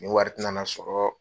Nin wari tɛ na na sɔrɔ.